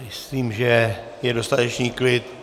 Myslím, že je dostatečný klid.